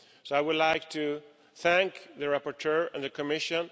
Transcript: I would like to thank the rapporteur and the Commission.